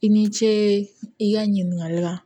I ni ce i ka ɲininkali la